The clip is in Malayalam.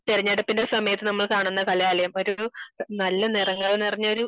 തിരഞ്ഞെടുപ്പിന്റെ സമയത് നമ്മൾ കാണുന്ന കലാലയം ഒരു നല്ല നിറങ്ങൾ നിറഞ്ഞൊരു